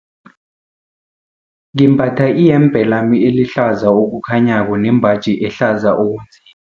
Ngimbatha iyembe lami elihlaza okukhanyako nembaji ehlaza okunzima.